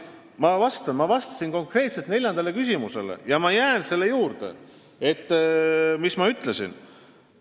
Ma ju vastasin konkreetselt neljandale küsimusele ja ma jään selle juurde, mis ma ütlesin.